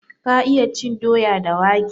Ka iyana cin doya da wake?